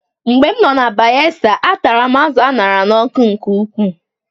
Mgbe m nọ na Bayelsa, a tara m azụ̀ a ṅara n'ọkụ nke ukwuu